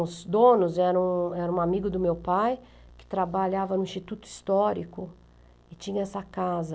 Os donos eram eram um amigo do meu pai, que trabalhava no Instituto Histórico, e tinha essa casa.